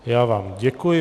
Já vám děkuji.